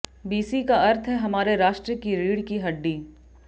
BC का अर्थ है हमारे राष्ट्र की रीड़ की हड्डी